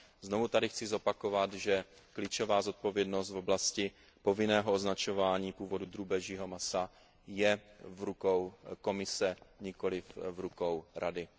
Znovu tady chci zopakovat, že klíčová zodpovědnost v oblasti povinného označování původu drůbežího masa je v rukou Komise, nikoli v rukou Rady.